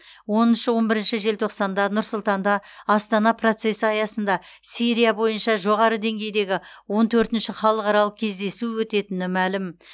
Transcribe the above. оныншы он бірінші желтоқсанда нұр сұлтанда астана процесі аясында сирия бойынша жоғары деңгейдегі он төртінші халықаралық кездесу өтетіні мәлім